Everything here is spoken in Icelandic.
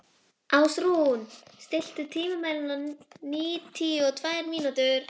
Ásrún, stilltu tímamælinn á níutíu og tvær mínútur.